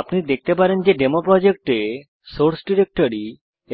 আপনি দেখতে পারেন যে ডেমোপ্রোজেক্ট এ সোর্স ডিরেক্টরি